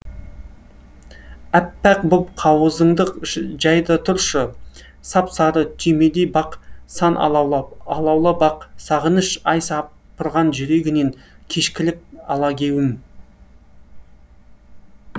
әппақ боп қауызыңды жай да тұршы сап сары түймедей бақ сан алаулап алаула бақ сағыныш айаи сапырған жүрегіне кешкілік алагеуім